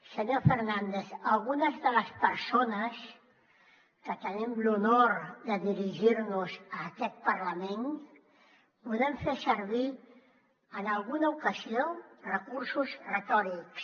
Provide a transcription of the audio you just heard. senyor fernández algunes de les persones que tenim l’honor de dirigir nos a aquest parlament podem fer servir en alguna ocasió recursos retòrics